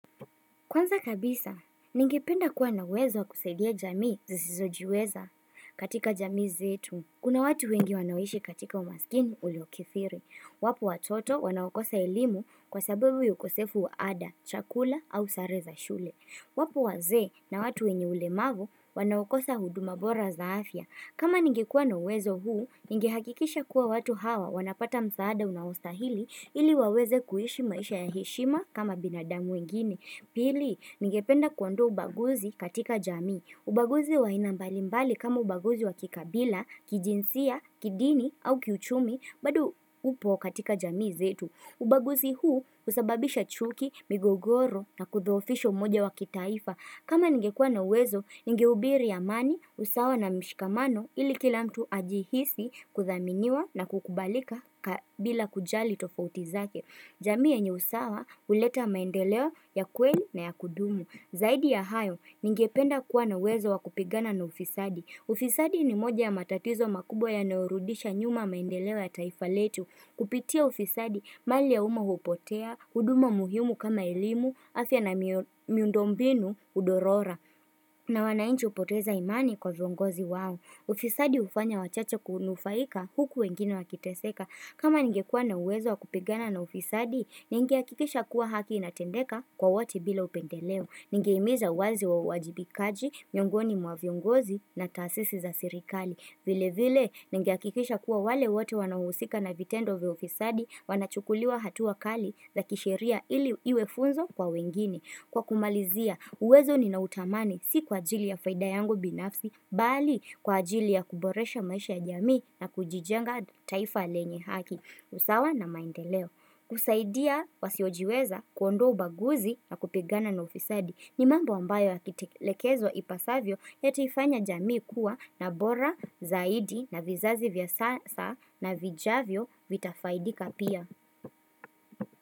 Kwanza kabisa, ningependa kuwa na uwezo kusaidia jamii zisizojiweza katika jamii zetu. Kuna watu wengi wanaoishi katika umaskini uliokithiri. Wapo watoto wanawakosa elimu kwa sababu ya ukosefu wa ada, chakula au sare za shule. Wapo wazee na watu wenye ulemavu wanaokosa huduma bora za afya kama ningikua na wezo huu, ningihakikisha kuwa watu hawa wanapata msaada unaostahili ili waweze kuishi maisha ya hishima kama binadamu wengini. Pili, ningependa kuondoa ubaguzi katika jamii. Ubaguzi wa aina mbali mbali kama ubaguzi wa kikabila, kijinsia, kidini au kiuchumi, bado upo katika jamii zetu. Ubaguzi huu usababisha chuki, migogoro na kudhoofisho umoja wa kitaifa. Kama ningekua na uwezo, ningehubiri amani, usawa na mshikamano ili kila mtu ajihisi kuthaminiwa na kukubalika bila kujali tofauti zake. Jamii yenye usawa uleta maendeleo ya kweli na ya kudumu. Zaidi ya hayo, ningependa kuwa na uwezo wakupigana na ufisadi. Ufisadi ni moja ya matatizo makubwa ya yanayorudisha nyuma maendeleo ya taifa letu. Kupitia ufisadi, mali ya uma hupotea, huduma muhimu kama elimu, afya na miundombinu, hudorora. Na wanainchi upoteza imani kwa viongozi wao. Ufisadi ufanya wachacha kunufaika huku wengine wakiteseka. Kama ningekuwa na uwezo wakupigana na ufisadi, ningeahikikisha kuwa haki inatendeka kwa wote bila upendeleo. Ningehimiza wazi wa wajibikaji, miongoni mwa viongozi na tasisi za sirikali. Vile vile, ningehakikisha kuwa wale wote wanaohusika na vitendo vya ufisadi wanachukuliwa hatuabkali za kisheria ili iwe funzo kwa wengine. Kwa kumalizia, uwezo ninautamani si kwa ajili ya faida yangu binafsi, bali kwa ajili ya kuboresha maisha ya jamii na kujijenga taifa lenye haki. Usawa na maendeleo. Kusaidia wasiojiweza kuondoa ubaguzi na kupigana na ufisadi. Ni mambo ambayo yakitekelezwa ipasavyo yataifanya jamii kuwa na bora zaidi na vizazi vya sasa na vijavyo vitafaidika pia.